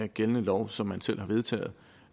gældende lov som man selv har vedtaget